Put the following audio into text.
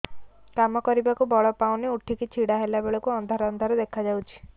କାମ କରିବାକୁ ବଳ ପାଉନି ଉଠିକି ଛିଡା ହେଲା ବେଳକୁ ଅନ୍ଧାର ଅନ୍ଧାର ଦେଖା ଯାଉଛି